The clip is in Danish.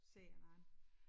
Ser hinanden